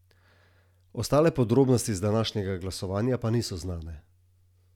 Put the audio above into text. Nikoli jih niti niso.